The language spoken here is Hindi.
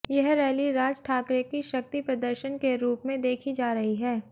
यह रैली राज ठाकरे की शक्ति प्रदर्शन के रूप में देखी जा रही है